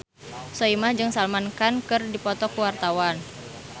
Soimah jeung Salman Khan keur dipoto ku wartawan